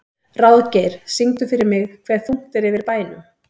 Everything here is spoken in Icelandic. Ráðgeir, syngdu fyrir mig „Hve þungt er yfir bænum“.